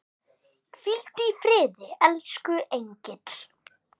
Hvíldu í friði, elsku engill.